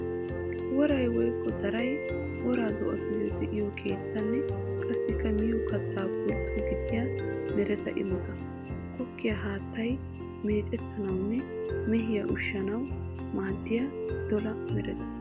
Woray woykko daray woraa do'attuyo de'iyo keettanne qassikka miyo katta pultto gidiya meretta imotta. Goggiya haattay meccettanawunne mehiya ushshanawu maadiya dolla meretta.